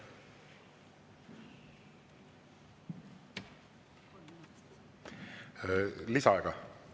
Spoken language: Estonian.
Kas lisaaega?